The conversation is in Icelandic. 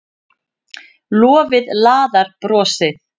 Lofið laðar brosið.